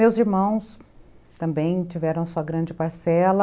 Meus irmãos também tiveram sua grande parcela,